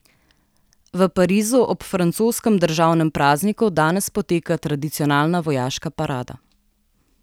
V Parizu ob francoskem državnem prazniku danes poteka tradicionalna vojaška parada.